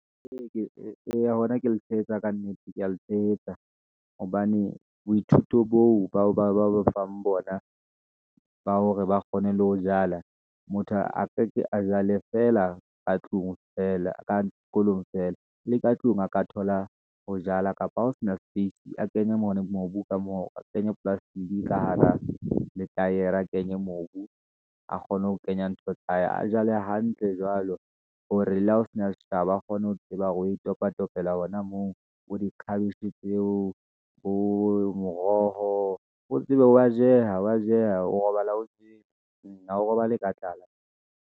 ee, eya hona ke le tshehetsa ka nnete, ke ya le tshehetsa, hobane boithuto boo ba bang bona, ba hore ba kgone le ho jala, motho a ka ke a jale fela ka tlung fela, ka sekolong feela, le ka tlung a ka thola ho jala, kapa ho sena space a kenye mono mobu ka moo, a kenye polasetiki ka hara letaere, a kenye mobu, a kgone ho kenya ntho tsa hae, a jale hantle jwalo hore le ha ho sena seshabo, akgone ho tseba hore o e topatopela hona moo, bo dikhabetjhe tseo, bo moroho. O tsebe wa jeh, wa jeha, o robala o jele, o robale ka tlala.